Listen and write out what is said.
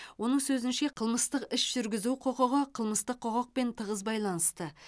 оның сөзінше қылмыстық іс жүргізу құқығы қылмыстық құқықпен тығыз байланысты